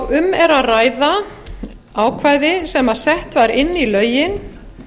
um er að ræða ákvæði sem sett var inn í lögin